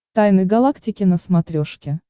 тайны галактики на смотрешке